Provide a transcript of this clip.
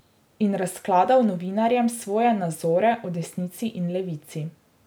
In razkladal novinarjem svoje nazore o desnici in levici.